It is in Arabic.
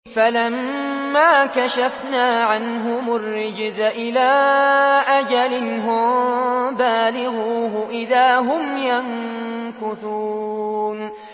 فَلَمَّا كَشَفْنَا عَنْهُمُ الرِّجْزَ إِلَىٰ أَجَلٍ هُم بَالِغُوهُ إِذَا هُمْ يَنكُثُونَ